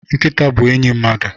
Nkita bu enyi mmadu